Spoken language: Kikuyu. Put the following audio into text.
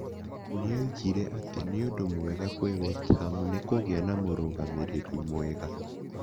Nĩoigire atĩ nĩundu mwega kwĩ West Ham nĩkũgĩa na mũrũgamĩrĩri mwega.